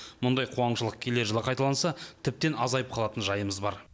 мұндай қуаңшылық келер жылы қайталанса тіптен азайып қалатын жайымыз бар